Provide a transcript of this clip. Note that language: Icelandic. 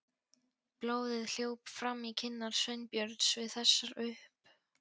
Blóðið hljóp fram í kinnar Sveinbjörns við þessar upp